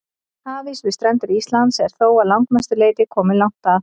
Hafís við strendur Íslands er þó að langmestu leyti kominn langt að.